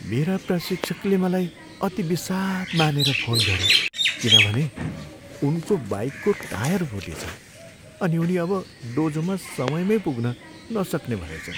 मेरा प्रशिक्षकले मलाई अति विषाद् मानेर फोन गरे किनभने उनको बाइकको टायर फुटेछ अनि उनी अब डोजोमा समयमै पुग्न नसक्ने भएछन्।